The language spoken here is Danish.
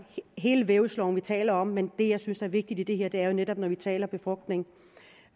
hele vævsloven vi taler om men det jeg synes er vigtigt i det her er jo netop når vi taler befrugtning